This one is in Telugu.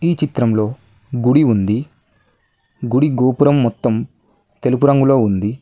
ఈ చిత్రంలో గుడి ఉంది గుడి గోపురం మొత్తం తెలుపు రంగులో ఉంది.